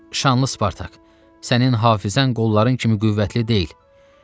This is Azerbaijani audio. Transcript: Şanlı Spartak, sənin hafizən qolların kimi qüvvətli deyil.